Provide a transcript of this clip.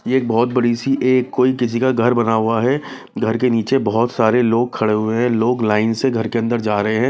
ये बहुत बड़ी सी एक कोई किसी का घर बना हुआ है घर के नीचे बहुत सारे लोग खड़े हुए हैं लोग लाइन से घर के अंदर जा रहे हैं।